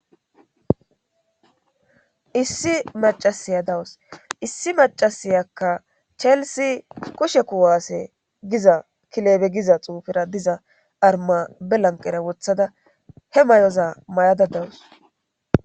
Issi macasiya dawus issi macasiyakka chelisi kushe kuwaasse giza kileebe giza xuufira diza arma belanqera wothada he may7oza may7ada dawus